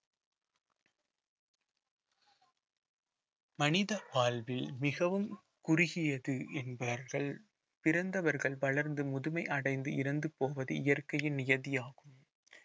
மனித வாழ்வில் மிகவும் குறுகியது என்பார்கள் பிறந்தவர்கள் வளர்ந்து முதுமை அடைந்து இறந்து போவது இயற்கையின் நியதியாகும்